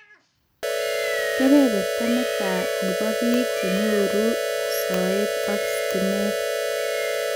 Keberberta netia nebe bik chenyoru soet ak stimet